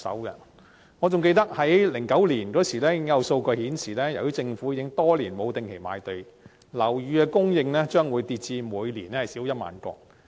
2009年已有數據顯示，由於政府多年沒有定期賣地，樓宇供應將會下跌至每年少於1萬個。